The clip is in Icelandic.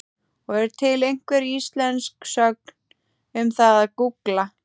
Og er til einhver íslensk sögn um það að gúgla?